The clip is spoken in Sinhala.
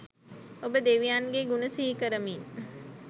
ඔබ දෙවියන්ගේ ගුණ සිහිකරමින්